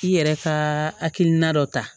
I yɛrɛ ka hakilina dɔ ta